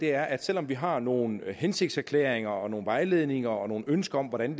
er at selv om vi har nogle hensigtserklæringer nogle vejledninger og nogle ønsker om hvordan